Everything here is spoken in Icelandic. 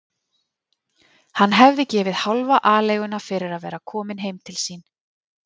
Hann hefði gefið hálfa aleiguna fyrir að vera kominn heim til sín.